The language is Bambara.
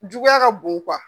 Juguya ka bon .